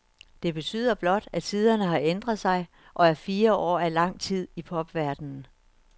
Det betyder blot, at tiderne har ændret sig, og at fire år er langt tid i popverdenen.